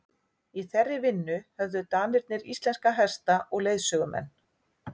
í þeirri vinnu höfðu danirnir íslenska hesta og leiðsögumenn